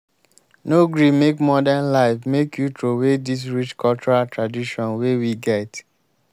no gree make modern life make you troway dis rich cultural tradition wey we get.